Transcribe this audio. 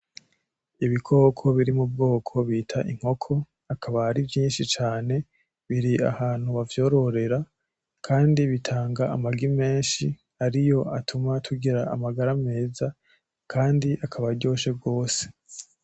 Ibikoko biri mu bwoko bita inkoko akaba ari vyinshi cane, biri ahantu bavyororera kandi bitanga amagi menshi ariyo atuma tugira amagara meza, kandi akaba aryoshe gose.